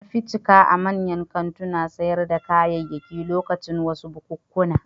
An fi cika a manyan kantunan sayar da kayayyaki lokacin wasu bukunkuna.